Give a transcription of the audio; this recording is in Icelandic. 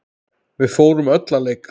Við fórum öll að leika.